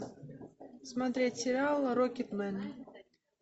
смотреть сериал рокетмен